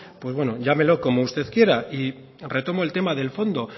pues bueno llámelo como usted quiera y retomo el tema del fondo